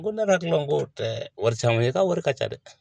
N ko ne hakila ko tɛ wari nga wari ka ca dɛ.